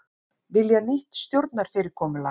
Vilja nýtt stjórnarfyrirkomulag